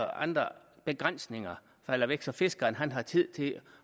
og andre begrænsninger falder væk så fiskeren har tid til at